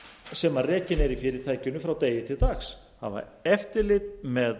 sem rekin er í fyrirtækinu frá degi til dags hafa eftirlit með